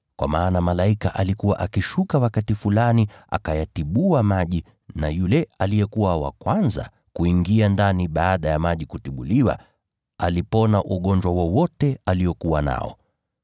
Kwa maana malaika alikuwa akishuka wakati fulani, akayatibua maji. Yule aliyekuwa wa kwanza kuingia ndani baada ya maji kutibuliwa alipona ugonjwa wowote aliokuwa nao].